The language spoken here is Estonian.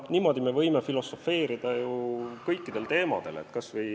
Niimoodi me võiksime ju filosofeerida kõikidel teemadel.